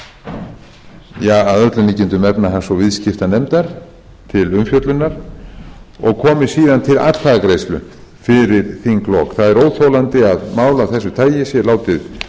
öllum líkindum efnahags og viðskiptanefndar til umfjöllunar og komi síðan til atkvæðagreiðslu fyrir þinglok það er óþolandi að mál af þessu tagi sé látið veltast